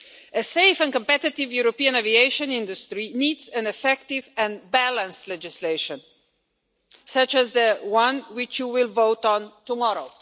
A safe and competitive European aviation industry needs an effective and balanced legislation such as the one which you will vote on tomorrow.